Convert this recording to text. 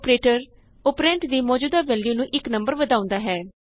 operator operand ਦੀ ਮੌਜੂਦਾ value ਨੂੰ ਇਕ ਨੰਬਰ ਵਧਾਉਂਦਾ ਹੈ